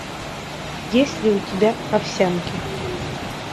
есть ли у тебя овсянки